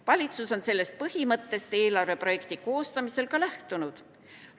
Valitsus on sellest põhimõttest eelarve projekti koostamisel ka lähtunud.